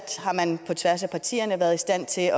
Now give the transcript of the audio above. på tværs af partierne har været i stand til